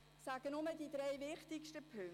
Ich erwähne nur die drei wichtigsten Punkte: